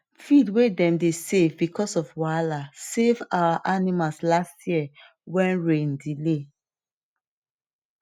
feed way dem dey save because of wahala save our animals last year when rain delay